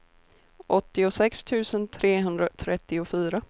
åttiosex tusen trehundratrettiofyra